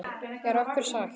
Er okkur sagt.